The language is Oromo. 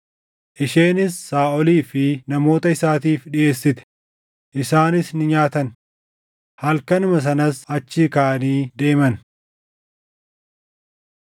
Isheenis Saaʼolii fi namoota isaatiif dhiʼeessite; isaanis ni nyaatan. Halkanuma sanas achii kaʼanii deeman.